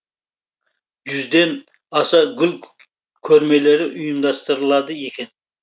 жүзден аса гүл көрмелері ұйымдастырылады екен